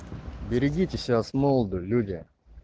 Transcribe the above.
берегите себя с молоду люди